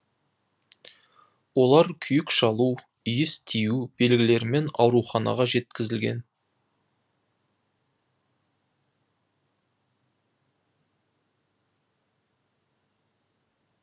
олар күйік шалу иіс тию белгілерімен ауруханаға жеткізілген